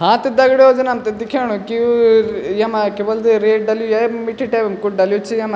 हाँ त दग्ड़ियों जन हमथे दिखेणु की यु यमा क्य्बुल्दी रेत डली है मिट्ठी टाइप कुछ डल्युं च यमां।